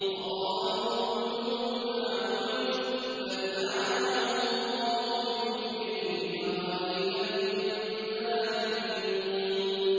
وَقَالُوا قُلُوبُنَا غُلْفٌ ۚ بَل لَّعَنَهُمُ اللَّهُ بِكُفْرِهِمْ فَقَلِيلًا مَّا يُؤْمِنُونَ